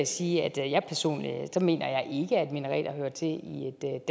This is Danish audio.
sige at jeg personligt ikke mener at minareter hører til i et